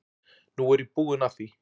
Nú er ég búin að því.